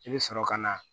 I bɛ sɔrɔ ka na